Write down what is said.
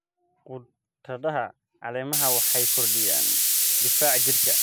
Khudradaha caleemaha waxay kordhiyaan difaaca jirka.